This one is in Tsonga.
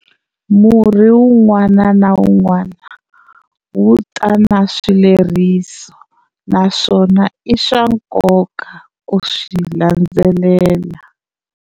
Murhi wun'wana na wun'wana wu ta na swileriso naswona i swa nkoka ku swi landzelela.